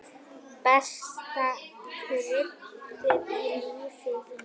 Besta kryddið í lífi þínu.